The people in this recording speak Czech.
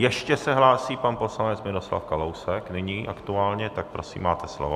Ještě se hlásí pan poslanec Miroslav Kalousek nyní aktuálně, tak prosím, máte slovo.